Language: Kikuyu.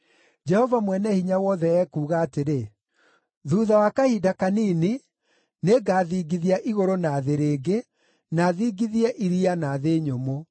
“Jehova Mwene-Hinya-Wothe ekuuga atĩrĩ; ‘Thuutha wa kahinda kanini nĩngathingithia igũrũ na thĩ rĩngĩ, na thingithie iria na thĩ nyũmũ.